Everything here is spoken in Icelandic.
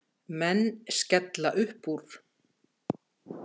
Menn skella uppúr.